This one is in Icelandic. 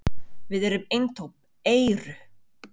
Við erum eintóm EYRU!